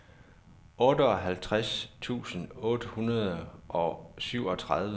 otteoghalvtreds tusind otte hundrede og syvogtredive